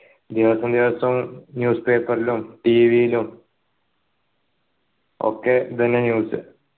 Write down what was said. ദിവസോ ദിവസോ newspaper ലും tv യിലും ഒക്കെ ഇതന്നെ news